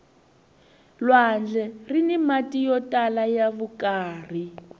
lwandle rini mati yo tala ya vukarhi